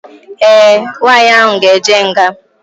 Ee, nwaanyị ahụ ga-eje nga.